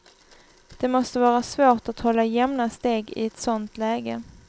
Det måste vara svårt att hålla jämna steg i ett sånt läge.